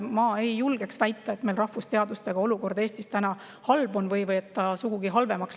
Ma ei julgeks väita, et meil on rahvusteadustega olukord Eestis halb või läheb sugugi halvemaks.